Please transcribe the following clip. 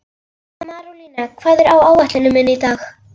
Marólína, hvað er á áætluninni minni í dag?